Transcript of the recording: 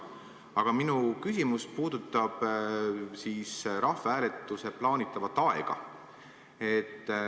Aga minu küsimus puudutab rahvahääletuse plaanitavat aega.